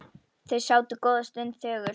Þau sátu góða stund þögul.